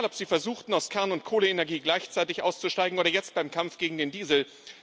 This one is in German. Egal, ob Sie versuchten, aus Kern und Kohleenergie gleichzeitig auszusteigen, oder jetzt beim Kampf gegen den Diesel.